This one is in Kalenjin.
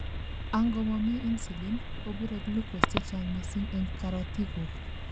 angomomi insulin, kobure glucose chechang missing en karotikguk